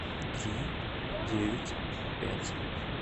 три девять пять